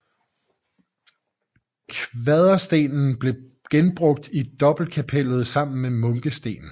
Kvaderstenene blev genbrugt i dobbeltkapellet sammen med munkesten